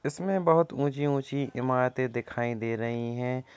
इसमें बहुत ऊँची-ऊँची इमारतें दिखाई दे रही हैं।